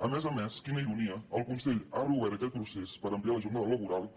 a més a més quina ironia el consell ha reobert aquest procés per ampliar la jornada laboral